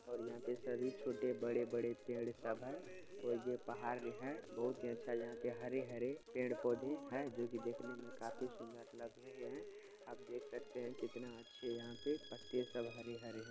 और यहाँ पे सभी छोटे बड़े- बड़े पेड़- पौधे ये पहाड़ जो है बहोत ही अच्छा यहाँ पर हर- हरे पेड़- पौधे है जोकी देखने मे काफी सुंदर लग रहे है आप देख सकते है कित्तना अछे यहाँ पे पत्ते सब हरे- हरे--